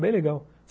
Bem legal.